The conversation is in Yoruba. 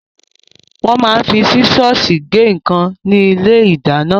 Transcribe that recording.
Wọ́n máa ń fi sísọ́ọ̀sì gé nǹkan ní ilé-ìdáná.